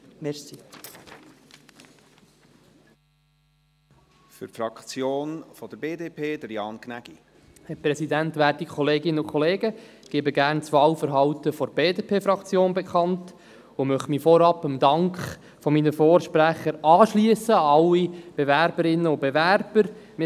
Ich gebe gerne das Wahlverhalten der BDP-Fraktion bekannt und möchte mich vorab dem Dank meiner Vorsprecher an alle Bewerberinnen und Bewerber anschliessen.